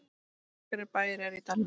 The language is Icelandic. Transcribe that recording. Nokkrir bæir eru í dalnum.